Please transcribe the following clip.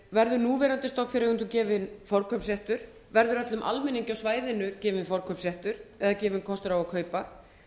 verður núverandi stofnfjáreigendum gefinn forkaupsréttur verður öllum almenningi á svæðinu gefinn kostur á að kaupa